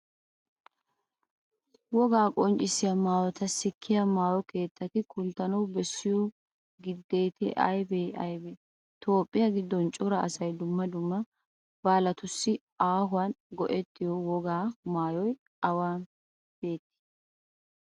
Wogaa qonccissiya maayota sikkiya maayo keettati kunttanawu bessiyo gidati aybee aybee? toophphiya giddon cora asay dumma dumma baalatussi aahuwan go"ettiyo wogaa maayoy awa biittaagee?